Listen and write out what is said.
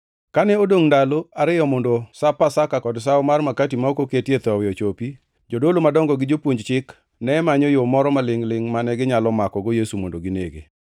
Kane odongʼ ndalo ariyo mondo Sap Pasaka kod Sawo mar makati ma ok oketie thowi ochopi, jodolo madongo gi jopuonj chik ne manyo yo moro malingʼ-lingʼ mane ginyalo makogo Yesu mondo ginege.